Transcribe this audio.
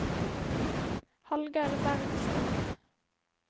Hallgeir Bergstrøm